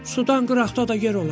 Sudan qıraqda da yer olar?